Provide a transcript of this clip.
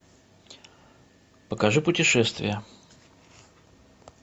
покажи путешествия